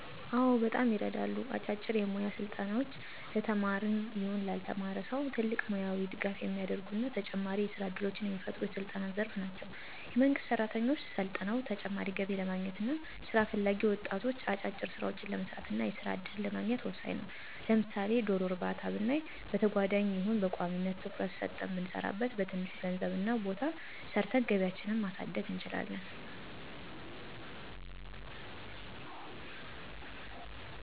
አዎ በጣም ይረዳሉ። አጫጭር የሞያ ስልጠናዎች ለተማረም ይሁን ላልተማረ ሰው ትልቅ ሙያዊ ድጋፍ የሚያረጉ እና ተጨማሪ የስራ እድሎችን የሚፈጥሩ የስልጠና ዘርፍ ናቸው። የመንግስት ሰራተኞች ሰልጥነው ተጨማሪ ገቢ ለማግኘት እና ስራ ፈላጊ ወጣቶች አጫጭር ስራዎችን ለመስራት እና የስራ እድልን ለማግኘት ወሳኝ ነው። ለምሳሌ ዶሮ እርባታ ብናይ በተጓዳኝም ይሁን በቋሚነት ትኩረት ሰጠን ብንሰራበት በትንሽ ገንዘብ እና ቦታ ሰርተን ገቢያችን ማሳደግ እንችላለን።